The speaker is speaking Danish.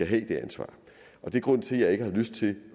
have det ansvar det er grunden til at jeg ikke har lyst til